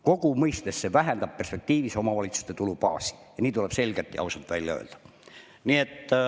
Kokkuvõttes see vähendab omavalitsuste tulubaasi ja nii tuleb selgelt ja ausalt välja öelda.